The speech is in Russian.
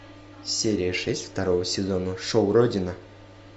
серия шесть второго сезона шоу родина